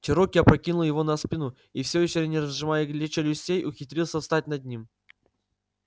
чероки опрокинул его на спину и всё ещё не разжимая челюстей ухитрился встать над ним